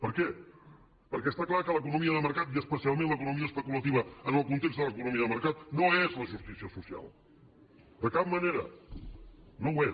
per què perquè està clar que l’economia de mercat i especialment l’economia especulativa en el context de l’economia de mercat no és la justícia social de cap manera no ho és